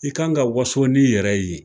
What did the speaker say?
I ka kan ka waso n'i yɛrɛ ye